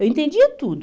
Eu entendia tudo.